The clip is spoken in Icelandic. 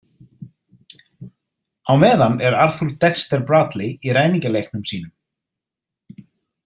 Á meðan er Arthur Dexter Bradley í ræningjaleiknum sínum.